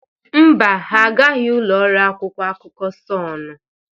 Mba, ha agaghị ụlọ ọrụ akwụkwọ akụkọ Sọnụ.